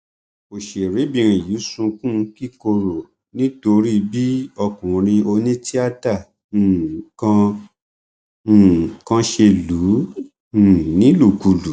ọṣèrébìnrin yìí sunkún kíkorò nítorí bí ọkùnrin onítìátà um kan um kan ṣe lù ú um nílùkulù